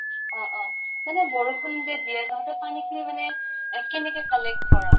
অহ অহ। মানে বৰষুন যে দিয়ে তহঁতে পানী খিনি মানে এ কেনেকে collect কʼৰʼ?